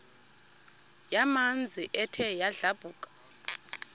yamanzi ethe yadlabhuka